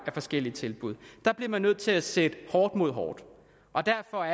af forskellige tilbud der bliver man nødt til at sætte hårdt mod hårdt og derfor